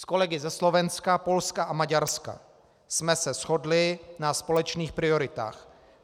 S kolegy ze Slovenska, Polska a Maďarska jsme se shodli na společných prioritách.